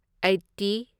eighty